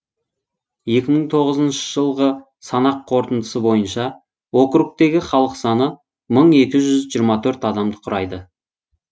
екі мың тоғызыншы жылғы санақ қорытындысы бойынша округтегі халық саны мың екі жүз жиырма төрт адамды құрайды